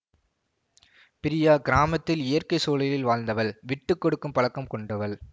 பிரியா கிராமத்தில் இயற்கை சூழலில் வாழ்ந்தவள் விட்டு கொடுக்கும் பழக்கம் கொண்டவள்